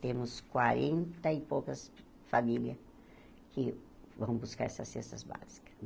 Temos quarenta e poucas famílias que vão buscar essas cestas básicas.